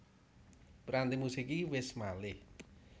Piranti musik iki wis malih